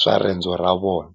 swa rendzo ra vona.